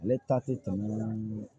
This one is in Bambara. Ale ta tɛ tɔ minnu